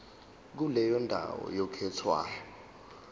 kuleyo ndawo oyikhethayo